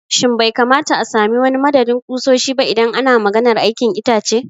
Shin bai kamata a sami wani madadin ƙusoshi ba idan ana maganar aikin itace?